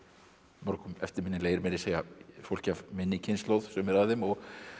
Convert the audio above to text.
mörgum eftirminnilegir meira að segja fólki af minni kynslóð sumir af þeim og